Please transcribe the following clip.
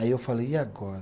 Aí eu falei, e agora?